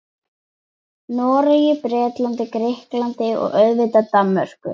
Noregi, Bretlandi, Grikklandi og auðvitað Danmörku.